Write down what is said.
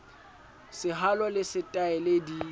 sehalo le se taele di